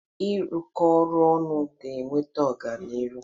Ịrụkọ ọrụ ọnụ ga-eweta ọganiru.